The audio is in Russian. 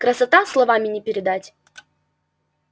красота словами не передать